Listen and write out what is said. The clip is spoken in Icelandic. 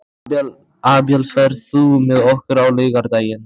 Abel, ferð þú með okkur á laugardaginn?